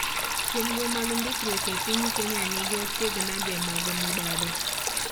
Chenro mag ndikruok epiny Kenya nigi achiedh nade mag mibadhi.